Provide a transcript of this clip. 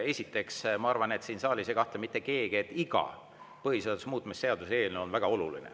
Esiteks, ma arvan, et siin saalis ei kahtle mitte keegi, et iga põhiseaduse muutmise seaduse eelnõu on väga oluline.